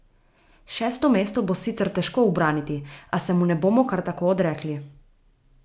Šesto mesto bo sicer težko ubraniti, a se mu ne bomo kar tako odrekli.